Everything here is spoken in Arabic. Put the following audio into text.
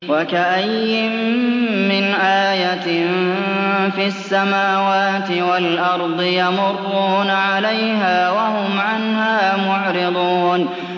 وَكَأَيِّن مِّنْ آيَةٍ فِي السَّمَاوَاتِ وَالْأَرْضِ يَمُرُّونَ عَلَيْهَا وَهُمْ عَنْهَا مُعْرِضُونَ